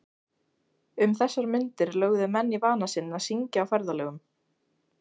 Um þessar mundir lögðu menn í vana sinn að syngja á ferðalögum.